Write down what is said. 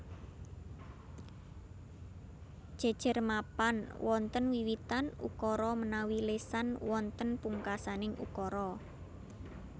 Jejer mapan wonten wiwitan ukara menawi lesan wonten pungkasaning ukara